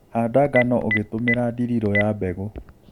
Handa ngano ũgĩtũmĩra dirirũ ya mbegũ